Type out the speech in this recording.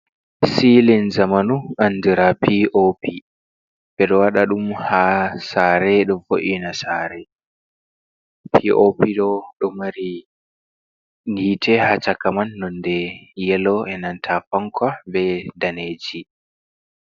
Silin zamanu andura p o p, ɓeɗo waɗaɗum ha sare, ɗo vo'ina sare, p o p ɗo ɗo mari hite ha cakaman nonde yelo’inan ta fanka be daneji.